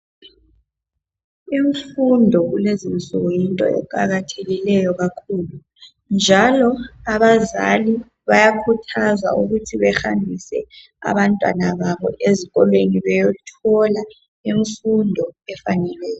Imfundo kulezi insuku yinto eqakathekileyo kakhulu njalo abazali bayakhuthazwa ukuthi behambise abantwana babo ezikolweni beyothola imfundo efaneleyo.